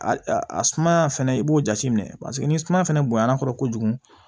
A a sumaya fɛnɛ i b'o jateminɛ paseke ni suma fɛnɛ bonya na kɔrɔ kojugu